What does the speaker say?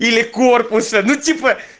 и